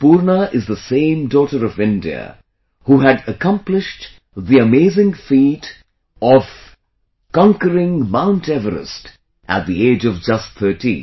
Poorna is the same daughter of India who had accomplished the amazing feat of done a conquering Mount Everest at the age of just 13